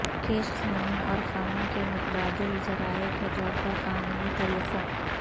case قانون اور قانون کے متبادل ذرائع کے طور پر قانونی طریقوں